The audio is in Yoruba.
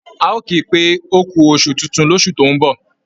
A ò ki pé ókú oṣù tuntun lósù tó ń bọ̀